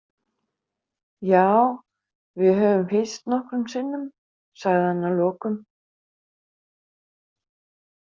Já, við höfum hist nokkrum sinnum, sagði hann að lokum.